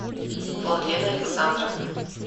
владлена александровна